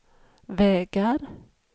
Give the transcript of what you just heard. vägar